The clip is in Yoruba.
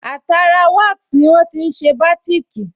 Àtara wasi ní wọ́n tí n ṣe bátìkì